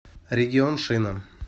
регион шина